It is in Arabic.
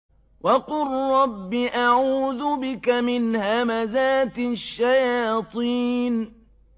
وَقُل رَّبِّ أَعُوذُ بِكَ مِنْ هَمَزَاتِ الشَّيَاطِينِ